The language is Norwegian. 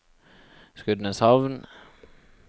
Skudeneshavn